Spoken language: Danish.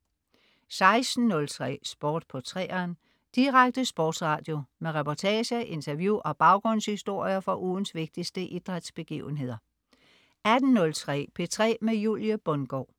16.03 Sport på 3'eren. Direkte sportsradio med reportager, interview og baggrundshistorier fra ugens vigtigste idrætsbegivenheder 18.03 P3 med Julie Bundgaard